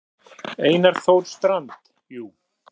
Einar Þór Strand: Jú.